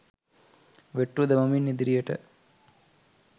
වෙට්ටු දමමින් ඉදිරියට